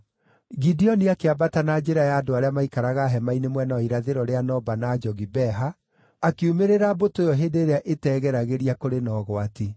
Gideoni akĩambata na njĩra ya andũ arĩa maikaraga hema-inĩ mwena wa irathĩro rĩa Noba na Jogibeha, akiumĩrĩra mbũtũ ĩyo hĩndĩ ĩrĩa ĩtegeragĩria kũrĩ na ũgwati.